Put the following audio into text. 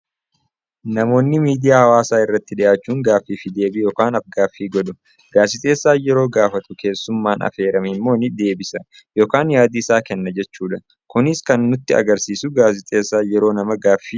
Namoonni miidiyaa hawaasaa irratti dhiyaachuun gaaffii fi deebii yookaan af-gaaffii godhu. Gaazexeessaan yeroo gaafatu keessummaan affeerame immoo ni debisa yookaan yaada isaa kenna jechuudha. Kunis kan nutti agarsiisu gaazexeessaan yeroo nama gaaffii gaafatudha.